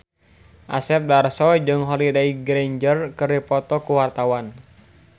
Asep Darso jeung Holliday Grainger keur dipoto ku wartawan